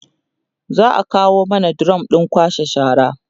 za'a kawo mana drum ɗin kwashe shara